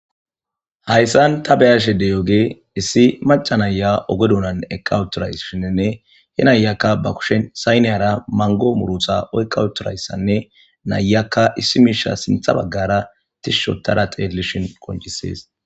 hayssan ta beyashedey oge issi maca naya ogedonan ekawutoray shienne he nayakka ba kushen sayneyara mango murutha eykawutorayssanne nayakka issi miisha sintha baggara tishshotada xeedlishin qoncisees